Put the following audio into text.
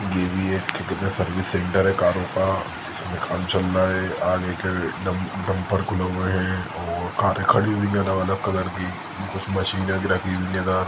ये एक service centre है करो का जिसमे काम चल रहा हैआगे एक डम डम्पर खुला हुआ है और कारे खड़ी हुई है अलग-अलग कलर की कुछ मशीने भी रखी हुई हैका--